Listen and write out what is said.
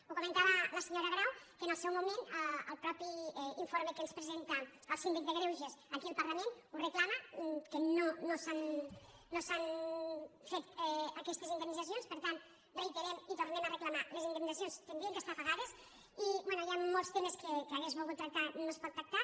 ho comentava la senyora grau que en el seu moment el mateix informe que ens presenta el síndic de greuges aquí al parlament ho re·clama que no s’han fet aquestes indemnitzacions per tant reiterem i tornem a reclamar les indemnitzaci·ons haurien d’estar pagades i bé hi ha molts temes que hauria volgut tractar i no es pot tractar